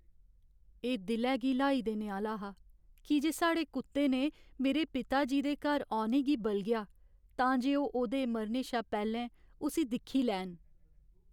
एह् दिलै गी ल्हाई देने आह्‌ला हा की जे साढ़े कुत्ते ने मेरे पिता जी दे घर औने गी बलगेआ तां जे ओह् ओह्दे मरने शा पैह्लें उस्सी दिक्खी लैन।